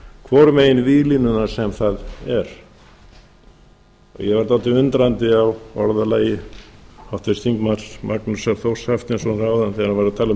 hvoru megin víglínunnar sem það er ég varð dálítið undrandi á orðalagi háttvirtur þingmaður magnúsar þórs hafsteinssonar áðan þegar hann var að tala